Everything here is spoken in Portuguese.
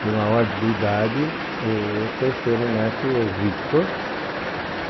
Pela ordem de idade, o terceiro neto é o Victor.